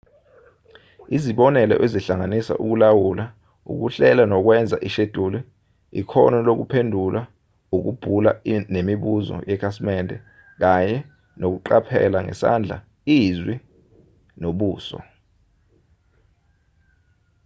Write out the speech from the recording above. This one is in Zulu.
izibonelo zihlanganisa ukulawula ukuhlela nokwenza isheduli ikhono lokuphendula ukubhula nemibuzo yekhasimende kanye nokuqaphela ngesandla izwi nobuso